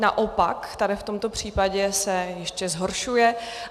Naopak, tady v tomto případě se ještě zhoršuje.